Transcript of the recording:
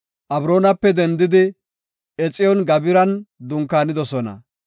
Abroonape dendidi Exiyoon-Gabiran dunkaanidosona.